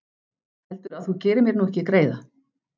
Heldurðu að þú gerir mér nú ekki greiða?